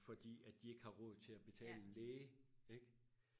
fordi at de ikke har råd til og betale en læge ikke